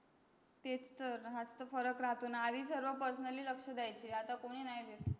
तेच तर हाच तर फरक राहतो न आधी सर्व personally लक्स्न द्यायचे आता कोणी नाही देत.